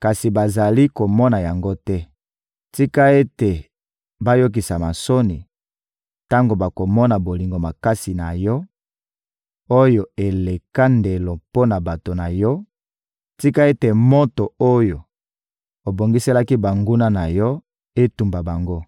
kasi bazali komona yango te. Tika ete bayokisama soni tango bakomona bolingo makasi na Yo, oyo eleka ndelo mpo na bato na Yo; tika ete moto oyo obongiselaki banguna na Yo etumba bango!